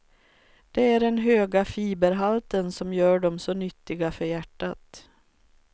Det är den höga fiberhalten som gör dem så nyttiga för hjärtat.